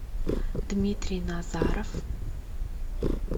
дмитрий назаров